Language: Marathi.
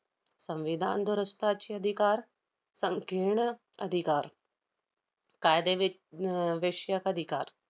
संविधान दुरस्ताचे अधिकार, संकीर्ण अधिकार, कायदेवि~ न~ अह विषयक अधिकार,